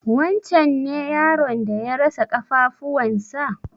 Wancen ne yaron da ya rasa ƙafafuwan sa?